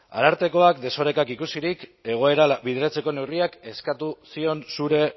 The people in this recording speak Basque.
arartekoak desorekak ikusirik egoerara bideratzeko neurriak eskatu zion zure